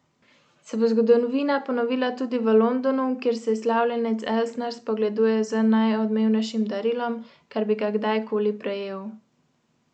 Se bo zgodovina ponovila tudi v Londonu, kjer se slavljenec Elsner spogleduje z najodmevnejšim darilom, kar bi ga kdajkoli prejel?